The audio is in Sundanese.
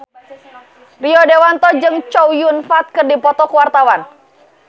Rio Dewanto jeung Chow Yun Fat keur dipoto ku wartawan